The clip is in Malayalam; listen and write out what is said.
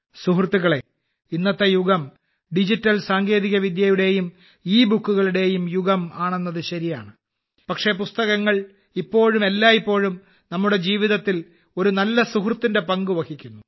സുഹൃത്തുക്കളെ ഇന്നത്തെ യുഗം ഡിജിറ്റൽ സാങ്കേതിക വിദ്യയുടെയും ഇബുക്കുകളുടെയും യുഗം ആണെന്നത് ശരിയാണ് പക്ഷേ പുസ്തകങ്ങൾ ഇപ്പോഴും എല്ലായ്പ്പോഴും നമ്മുടെ ജീവിതത്തിൽ ഒരു നല്ല സുഹൃത്തിന്റെ പങ്ക് വഹിക്കുന്നു